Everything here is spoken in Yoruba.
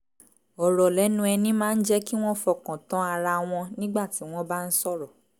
ọ̀rọ̀ lẹ́nu ẹni máa ń jẹ́ kí wọ́n fọkàn tán ara wọn nígbà tí wọ́n bá ń sọ̀rọ̀